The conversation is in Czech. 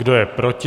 Kdo je proti?